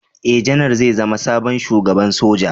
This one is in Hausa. Ee, Janar zai zama sabon Shugaban Soja.